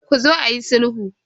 Ku zo ayi sulhu.